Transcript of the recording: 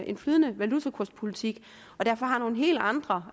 en flydende valutakurspolitik og derfor har nogle helt andre